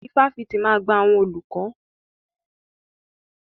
Ifáfitì máa gba àwọn olùkọ́.